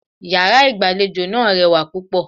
Iyàrá ìgbàlejò náà rewà púpọ̀